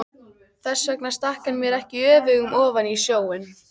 Þess vegna stakk hann mér ekki öfugum ofan í snjóinn.